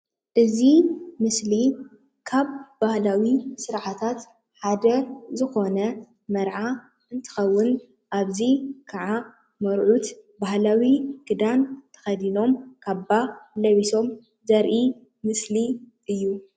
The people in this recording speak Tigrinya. እዚ ምስሊ ካብ ባህላዊ ስርዓታት ሓደ ዝኾነ መርዓ እንትኸውን ኣብዚ ከዓ መርዑት ባህላዊ ክዳን ተኸዲኖም ካባ ለቢሶም ዘርኢ ምስሊ እዩ።